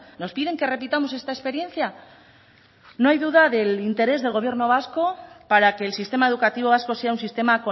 nos piden que repitamos esta experiencia no hay duda del interés del gobierno vasco para que el sistema educativo vasco sea un sistema